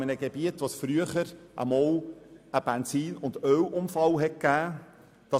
In diesem Gebiet, wo es früher einmal zu einem Benzin- und Öl-Unfall kam, wurden Erdsonden gebohrt.